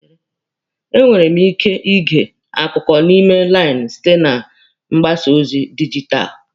E nwere m ike ige akụkọ n'ime lainụ site na mgbasa ozi dijitalụ.